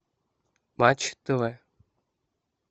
матч тв